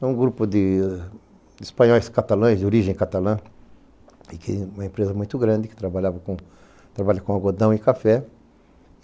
É um grupo de espanhóis catalãs, de origem catalã, uma empresa muito grande, que trabalha com algodão e café.